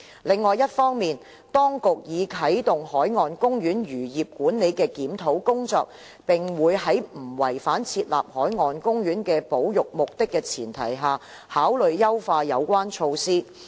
另一方面，當局已啟動海岸公園漁業管理的檢討工作，並會在不違反設立海岸公園的保育目的前提下，考慮優化有關措施。